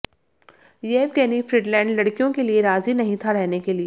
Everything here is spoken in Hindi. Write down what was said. येवगेनी फ्रीडलैंड लड़कियों के लिए राजी नहीं था रहने के लिए